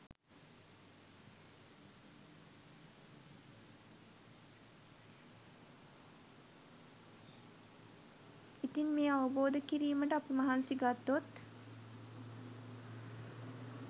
ඉතින් මේ අවබෝධ කිරීමට අපි මහන්සි ගත්තොත්